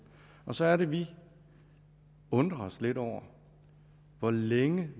og så er det vi undrer os lidt over hvor længe